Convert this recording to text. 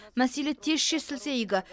мәселе тез шешілсе игі